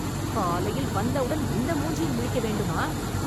காலையில் வந்தவுடன் இந்த மூஞ்சியில் முழிக்க வேண்டுமா?